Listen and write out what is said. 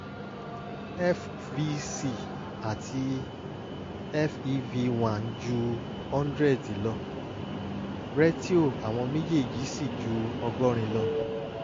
fvc àti fev1 ju 100 lọ rétíò àwọn méjèèjì sì ju ọgọ́rin lọ